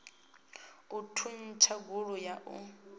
u thuntsha gulu ya u